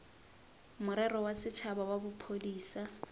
morero wa setšhaba wa bophodisa